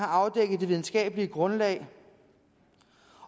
afdækket det videnskabelige grundlag